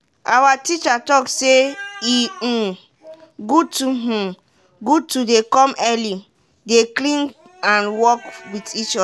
awa teacher talk say e um good to um good to dey come early dey clean and work wit each oda.